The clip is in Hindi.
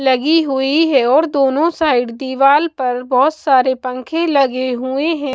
लगी हुई है और दोनों साइड दीवाल पर बहुत सारे पंखे लगे हुए हैं।